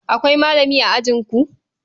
Akwai malami a ajinku?